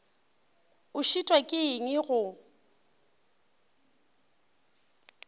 o šitwa ke eng go